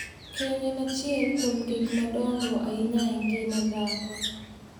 keny en achiel kuom gik madongo ahinya e ngima dhako.